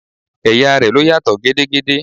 Ẹ̀yà rẹ ló yàtọ̀ gedegbe